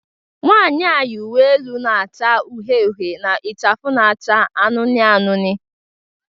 Nwanyị a yi uwe elu na-acha uhie uhie na ichafu na-acha anụnụ anụnụ